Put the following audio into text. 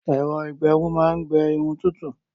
Ẹ̀rọ-ìgbẹrun máa ń gbé Irun tútù